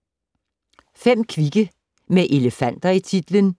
5 kvikke med elefanter i titlen